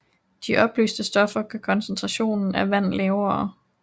De opløste stoffer gør koncentrationen af vand lavere